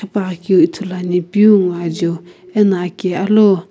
pa keu ithulu ane peu ngho ajeu ano aki alu.